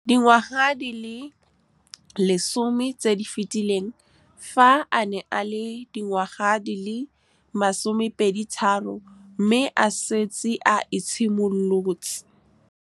Dingwaga di le 10 tse di fetileng, fa a ne a le dingwa ga di le 23 mme a setse a itshimoletse. Dingwaga di le 10 tse di fetileng, fa a ne a le dingwa ga di le 23 mme a setse a itshimoletse.